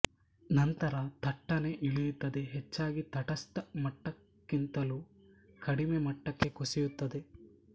ನಂತರ ಥಟ್ಟನೆ ಇಳಿಯುತ್ತದೆ ಹೆಚ್ಚಾಗಿ ತಟಸ್ಥ ಮಟ್ಟಕ್ಕಿಂತಲೂ ಕಡಿಮೆ ಮಟ್ಟಕ್ಕೆ ಕುಸಿಯುತ್ತದೆ